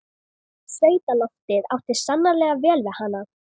Sveitaloftið átti sannarlega vel við hana.